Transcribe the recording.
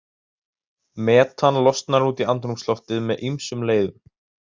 Metan losnar út í andrúmsloftið með ýmsum leiðum.